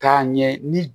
K'a ɲɛ ni